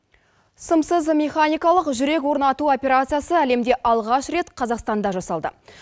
сымсыз механикалық жүрек орнату операциясы әлемде алғаш рет қазақстанда жасалды